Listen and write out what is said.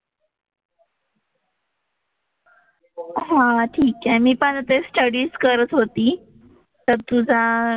हां ठीक आहे मी पण आता स्टडीच करत होती, तर तुझा,